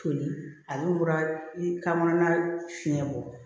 Toli ale bɔra i kamana fiɲɛ bɔ